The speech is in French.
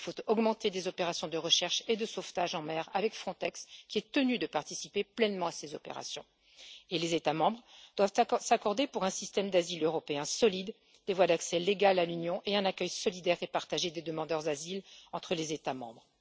Il faut augmenter les opérations de recherche et de sauvetage en mer avec Frontex, qui est tenu de participer pleinement à ces opérations, et les États membres peuvent s'accorder sur un système d'asile européen solide, des voies d'accès légales à l'Union et un accueil solidaire et partagé des demandeurs d'asile entre les États membres.